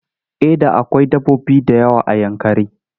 A da akwai dabbobi da yawa a Yankari.